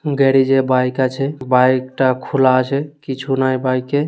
গ্যারেজে বাইক আছে বাইকটা খুলা আছে কিছু নাই বাইকে --